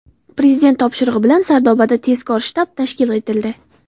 Prezident topshirig‘i bilan Sardobada tezkor shtab tashkil etildi.